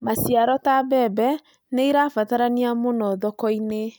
Maciaro ta mbembe nĩ ĩrabatarania mũno thoko-inĩ